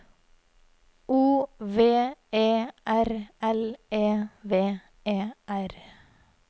O V E R L E V E R